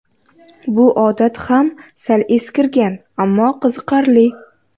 Bu odat ham sal eskirgan, ammo qiziqarli.